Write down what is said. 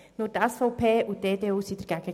Nur die SVP und die EDU waren dagegen.